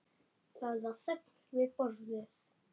Það var þögn við borðið.